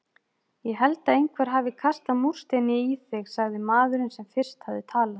Ég held að einhver hafi kastað múrsteini í þig sagði maðurinn sem fyrst hafði talað.